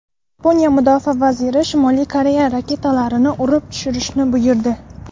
Yaponiya mudofaa vaziri Shimoliy Koreya raketalarini urib tushirishni buyurdi.